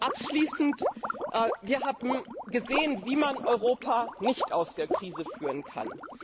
Abschließend Wir haben gesehen, wie man Europa nicht aus der Krise führen kann.